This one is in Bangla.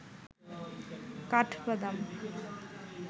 কাঠবাদাম